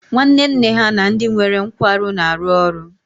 Nwanne nne ha na ndị nwere nkwarụ na-arụ ọrụ